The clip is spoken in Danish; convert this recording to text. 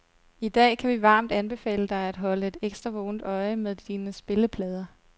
I dag kan vi varmt anbefale dig at holde et ekstra vågent øje med dine spilleplader.